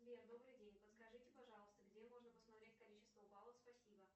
сбер добрый день подскажите пожалуйста где можно посмотреть количество баллов спасибо